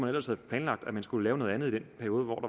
ellers havde planlagt at man skulle lave noget andet i den periode hvor